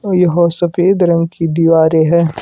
और यहां सफेद रंग की दीवारें है।